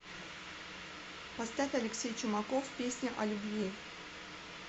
поставь алексей чумаков песня о любви